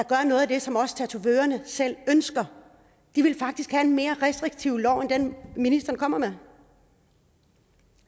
gøre noget af det som tatovørerne selv ønsker de vil faktisk have en mere restriktiv lov end den ministeren kommer med